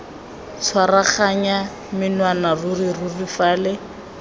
tshwaraganya menwana ruri ruri fale